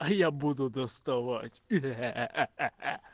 а я буду доставать хе хе хе